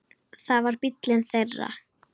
Það var bíllinn þeirra.